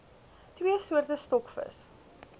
twee soorte stokvis